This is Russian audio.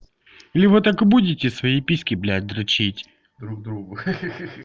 или вы так и будете свои письки блядь дрочить друг другу ха-ха